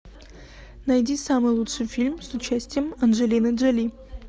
найди самый лучший фильм с участием анджелины джоли